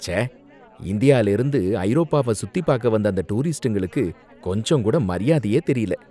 ச்சே! இந்தியாலேர்ந்து ஐரோப்பாவ சுத்திப்பாக்க வந்த அந்த டூரிஸ்ட்டுங்களுக்கு கொஞ்சங்கூட மரியாதையே தெரியல.